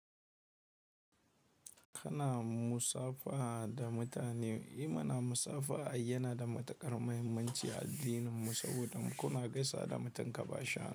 Kana musafaha da mutane. I mana musafaha ai yana da matuƙar mahimmanci a addininmu saboda kuna gaisawa da mutum ka ba shi hannu.